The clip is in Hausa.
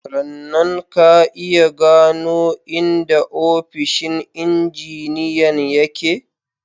Rannan, ka iya gano inda ofishin injiniyan ya ke?/